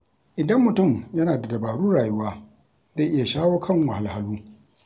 Idan mutum yana da dabarun rayuwa, zai iya shawo kan wahalhalu.